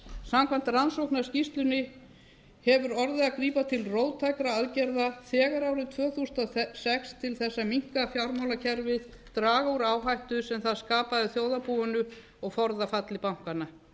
samkvæmt rannsóknarskýrslunni hefur orðið að grípa til róttækra aðgerða þegar árið tvö þúsund og sex til að minnka fjármálakerfið draga úr áhættu sem það skapaði þjóðarbúinu og forða falli bankanna